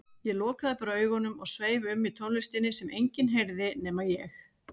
Ég lokaði bara augunum og sveif um í tónlistinni sem enginn heyrði nema ég.